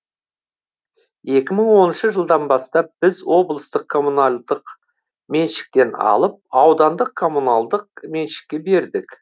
екі мың оныншы жылдан бастап біз облыстық коммуналдық меншіктен алып аудандық коммуналдық меншікке бердік